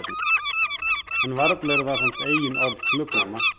En varla eru það samt eigin orð flugnanna.